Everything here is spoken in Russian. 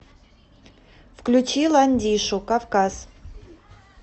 включи ландишу кавказ